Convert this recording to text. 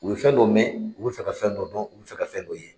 U bɛ fɛn dɔ mɛn, u bɛ fɛ ka fɛn dɔ dɔn, u bɛ fɛ ka fɛn dɔ ye.